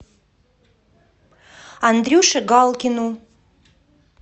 андрюше галкину